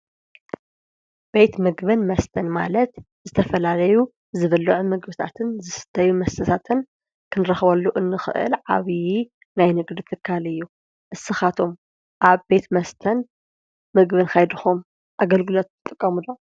ቤት ምግብን መስተን ማለት ዝተፈላለዩ ዝብልዕ ምግብታትን ዝስተዩ መስሳትን ክንረኸበሉ እንኽእል ዓብዪ ናይ ንግድ ትካልእዩ እስኻቶም ኣብ ቤት መስተን ምግብን ካይድኹም ኣገልግለት ጥቐሙዶ?